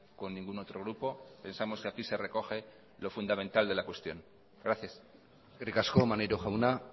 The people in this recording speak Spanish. con ningún otro grupo pensamos que aquí se recoge lo fundamental de la cuestión gracias eskerrik asko maneiro jauna